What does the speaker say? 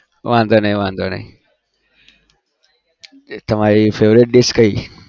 વાંધો નઈ વાંધો નઈ તમારી favorite dish કંઈ?